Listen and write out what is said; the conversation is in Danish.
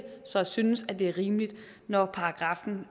synes det er rimeligt når paragraffen